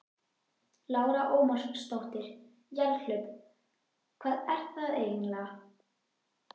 Lára Ómarsdóttir: Jarðhlaup, hvað er það eiginlega?